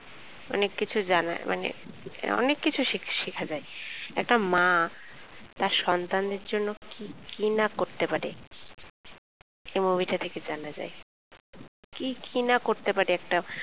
অনেক কিছু জানার মানে অনেক কিছু শিখ শেখা যায়। একটা মা তার সন্তান দের জন্যে কি কিনা করতে পারে এই movie টা থেকে জানা যায় কি কিনা করতে পারে.